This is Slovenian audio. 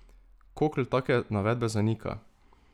Kokl take navedbe zanika.